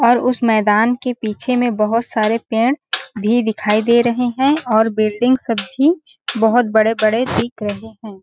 और उस मैदान के पीछे में बहोत सारे पेड़ भी दिखाई दे रहे है और बिल्डिंग सब भी बहोत बड़े-बड़े दिख रहे है। .